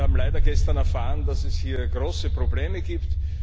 Wir haben leider gestern erfahren, dass es hier große Probleme gibt.